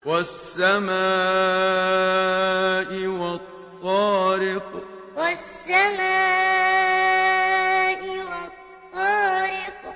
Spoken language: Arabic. وَالسَّمَاءِ وَالطَّارِقِ وَالسَّمَاءِ وَالطَّارِقِ